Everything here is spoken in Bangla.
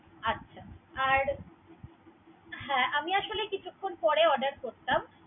আচ্ছা, আর হ্যা আমি আসলে কিছুক্ষণ পরে order করতাম।